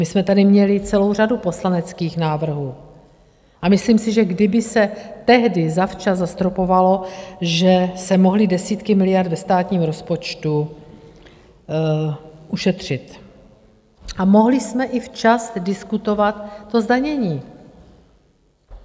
My jsme tady měli celou řadu poslaneckých návrhů a myslím si, že kdyby se tehdy zavčas zastropovalo, že jste mohli desítky miliard ve státním rozpočtu ušetřit a mohli jsme i včas diskutovat to zdanění.